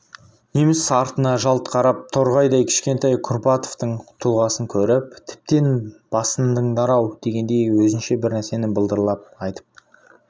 неміс артына жалт қарап торғайдай кішкентай курбатовтың тұлғасын көріп тіптен басындыңдар-ау дегендей өзінше бірнәрсені былдырлап айтып